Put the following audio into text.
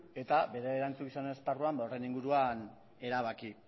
eta bere erantzukizunaren esparruan horren inguruan erabaki